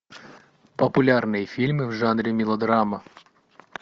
популярные фильмы в жанре мелодрама